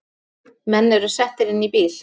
Menn eru settir inn í bíl